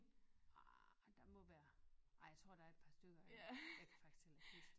Ah der må være ej jeg tror der er et par stykker eller jeg kan faktisk ikke huske det